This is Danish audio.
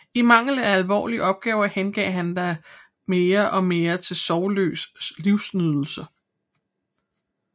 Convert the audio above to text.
I mangel af alvorlige opgaver hengav han sig da mere og mere til sorgløs livsnydelse